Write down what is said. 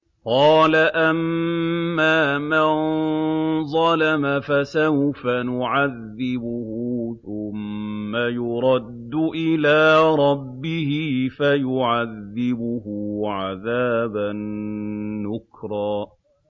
قَالَ أَمَّا مَن ظَلَمَ فَسَوْفَ نُعَذِّبُهُ ثُمَّ يُرَدُّ إِلَىٰ رَبِّهِ فَيُعَذِّبُهُ عَذَابًا نُّكْرًا